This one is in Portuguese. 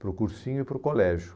para o cursinho e para o colégio.